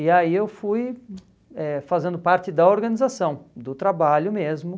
E aí eu fui eh fazendo parte da organização, do trabalho mesmo.